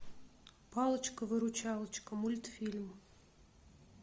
палочка выручалочка мультфильм